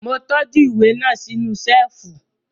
Mo tọ́jú ìwé náà sínú Ṣẹ́ẹ̀fù